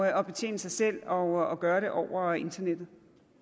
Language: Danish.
at betjene sig selv og gøre det over internettet